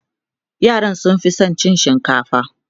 yaran sun Fi San cin shinkafa